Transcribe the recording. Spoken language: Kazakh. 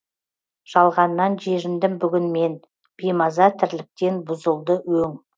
жалғаннан жеріндім бүгін мен беймаза тірліктен бұзылды өң